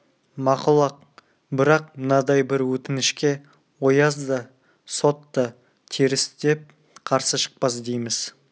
мақұл-ақ бірақ мынадай бір өтінішке ояз да сот та теріс деп қарсы шықпас дейміз